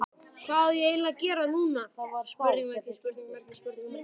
Hvað á ég eiginlega að gera núna???